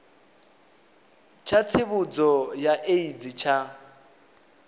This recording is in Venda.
tsha tsivhudzo ya aids tsha